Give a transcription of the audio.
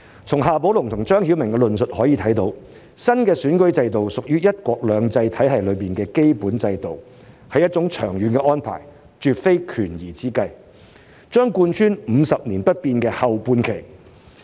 從夏寶龍和張曉明的論述可以看到，新選舉制度屬於"一國兩制"體系中的基本制度，是一種長遠安排，絕非權宜之計，將貫穿"五十年不變"的後半期。